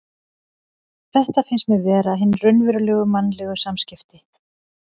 Þetta finnst mér vera hin raunverulegu mannlegu samskipti.